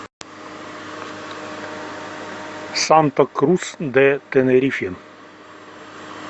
санта крус де тенерифе